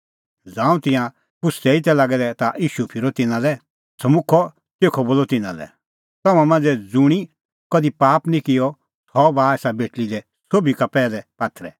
ज़ांऊं तिंयां पुछ़दै ई तै लागै ता ईशू फिरअ तिन्नां लै समुखअ तेखअ बोलअ तिन्नां लै तम्हां मांझ़ै ज़ुंणी कधि पाप निं किअ सह बाहा एसा बेटल़ी लै सोभी का पैहलै पात्थरै